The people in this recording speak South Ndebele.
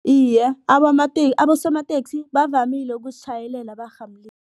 Iye, abosomateksi bavamile ukusitjhayelela